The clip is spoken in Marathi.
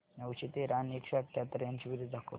नऊशे तेरा आणि एकशे अठयाहत्तर यांची बेरीज दाखव